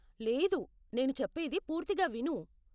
లేదు, నేను చెప్పేది పూర్తిగా విను.